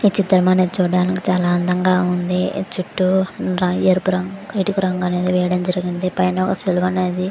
ఈ చిత్రం మనం చుడానికి చాలా అందం గ ఉంది. చుట్టూ ఎరుపు రంగు కిటికీ రంగు అని వేయడం జరిగింది పైన ఒక సిలువ అనేది--